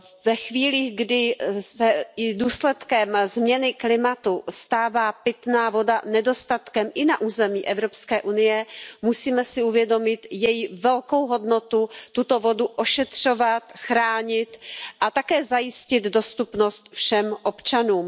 Ve chvílích, kdy se i důsledkem změny klimatu stává pitná voda nedostatkem i na území Evropské unie, musíme si uvědomit její velkou hodnotu, tuto vodu ošetřovat, chránit a také zajistit dostupnost všem občanům.